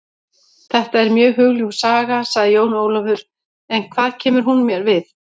Þetta er mjög hugljúf saga, sagði Jón Ólafur, en hvað kemur hún mér við?